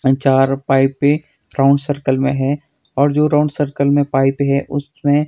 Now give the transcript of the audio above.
चार पाइपे round circle में है और जो राउंड सर्कल में पाइप है उसमें--